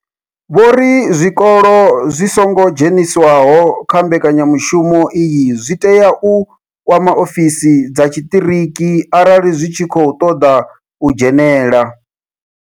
Vho ri zwikolo zwi songo dzheniswaho kha mbekanya mushumo iyi zwi tea u kwama ofisi dza tshiṱiriki arali zwi tshi khou ṱoḓa u dzhenela.